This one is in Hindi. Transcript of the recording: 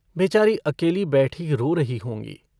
बेचारी अकेली बैठी रो रही होंगी।